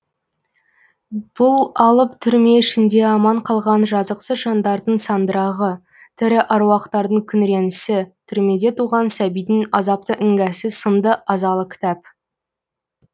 бұл алып түрме ішінде аман қалған жазықсыз жандардың сандырағы тірі аруақтардың күңіренісі түрмеде туған сәбидің азапты іңгәсі сынды азалы кітап